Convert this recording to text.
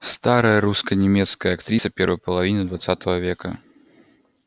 старая русско-немецкая актриса первой половины двадцатого века